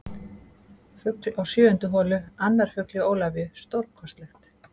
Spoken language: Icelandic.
Fugl á sjöundu holu Annar fugl hjá Ólafíu, stórkostlegt.